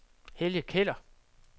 Helge Keller